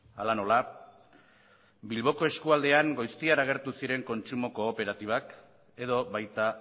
hala nola bilboko eskualdean goiztiar agertu ziren kontsumo kooperatibak edo baita